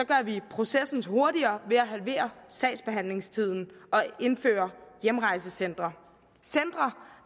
gør vi processen hurtigere ved at halvere sagsbehandlingstiden og indføre hjemrejsecentre centre